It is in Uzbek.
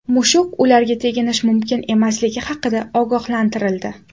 Mushuk ularga teginish mumkin emasligi haqida ogohlantirildi.